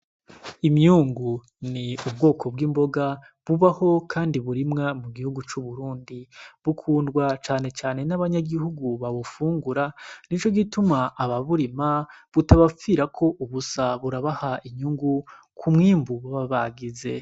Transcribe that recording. Imyungu ni ubwoko bw'imboga bubaho, kandi burimwa mu gihugu c'uburundi bukundwa canecane n'abanyagihugu babufungura ni co gituma aba burima butabapfirako ubusa burabaha inyungu kumwimbu baba bagize.